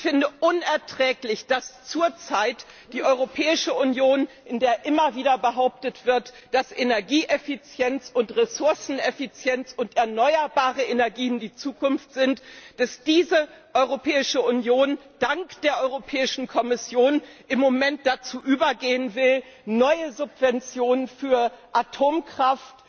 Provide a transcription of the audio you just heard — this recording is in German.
Ich finde es unerträglich, dass zur Zeit die Europäische Union, in der immer wieder behauptet wird, dass Energieeffizienz und Ressourceneffizienz und erneuerbare Energien die Zukunft sind, dass diese Europäische Union dank der Kommission im Moment dazu übergehen will, neue Subventionen für Atomkraft,